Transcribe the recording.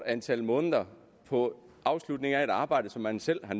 antal måneder på afslutningen af et arbejde som man selv har